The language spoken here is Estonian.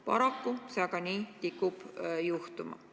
Paraku see aga nii tikub juhtuma.